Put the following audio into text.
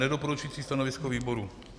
Nedoporučující stanovisko výboru.